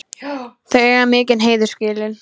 Þau eiga mikinn heiður skilið.